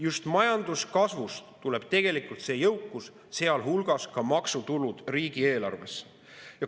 Just majanduskasvust tuleb tegelikult see jõukus, sealhulgas maksutulud riigieelarvesse.